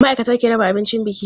Ma'aikata ke raba abincin biki.